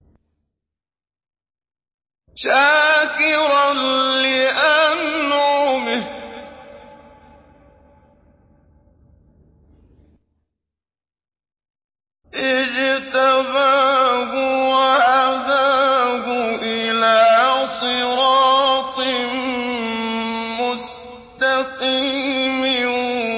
شَاكِرًا لِّأَنْعُمِهِ ۚ اجْتَبَاهُ وَهَدَاهُ إِلَىٰ صِرَاطٍ مُّسْتَقِيمٍ